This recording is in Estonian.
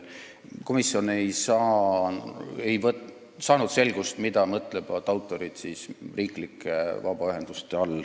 Komisjon ei saanud selgust, mida mõtlevad autorid riiklike vabaühenduste all.